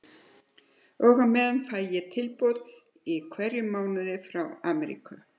Og á meðan fæ ég tilboð í hverjum mánuði frá Amríku.